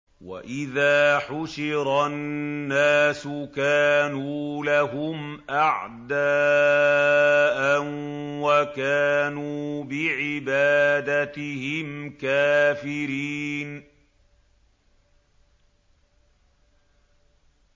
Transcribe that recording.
وَإِذَا حُشِرَ النَّاسُ كَانُوا لَهُمْ أَعْدَاءً وَكَانُوا بِعِبَادَتِهِمْ كَافِرِينَ